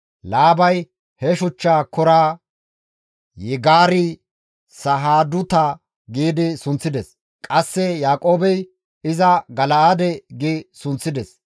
Laabay he shuchcha koraa, Yigaar-Sahaaduta gi sunththides; qasse Yaaqoobey iza Gal7eede gi sunththides.